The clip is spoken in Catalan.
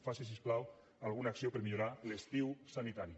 faci si us plau alguna acció per millorar l’estiu sanitari